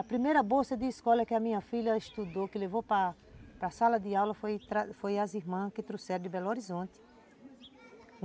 A primeira bolsa de escola que a minha filha estudou, que levou para para a sala de aula, foram as irmãs que trouxeram de Belo Horizonte.